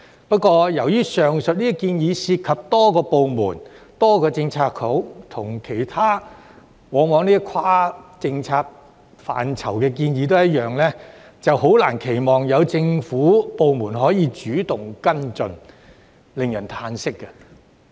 不過，由於上述的建議涉及多個部門、多個政策局，往往與其他跨政策範疇的建議一樣，難以期望有政府部門會主動跟進，令人嘆息。